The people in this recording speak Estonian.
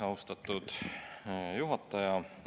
Austatud juhataja!